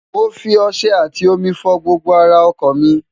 mo fi ọṣẹ àtì omi fọ gbogbo ara ọkọ̀ mi